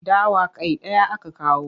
Dawa kai ɗaya aka kawo.